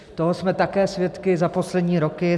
Toho jsme také svědky za poslední roky.